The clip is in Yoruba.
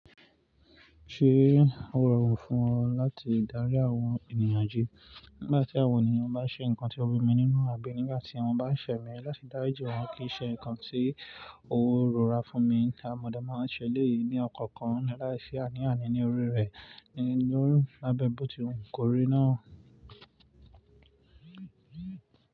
Ṣé ó rọrùn fún ọ láti dárí àwọn ènìyàn jí? Nígbà tí àwọn ènìyàn bá ṣe nǹkan tí ó b'imi nínú àbi nígbà tí wọ́n bá ṣẹ̀ mí, láti dárìji wọn kí ì ṣe nǹkan tí ó rọra fún mi. Àh mọ dé máa ń ṣẹ elẹ̀yìí ní ọ̀kọ̀ọ̀kan láìsí àní àní ní orí rẹ̀. Nínu abẹ́ bọ́ọ̀ ti wu kọ́ri náà.